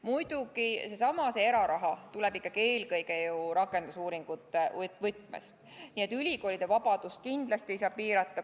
Muidugi seesama eraraha tuleb ikkagi eelkõige rakendusuuringute võtmes, nii et ülikoolide vabadust kindlasti ei saa piirata.